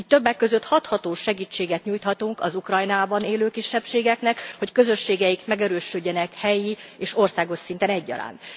Így többek között hathatós segítséget nyújthatunk az Ukrajnában élő kisebbségeknek, hogy közösségeik megerősödjenek helyi és országos szinten egyaránt.